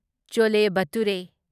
ꯆꯣꯂꯦ ꯚꯇꯨꯔꯦ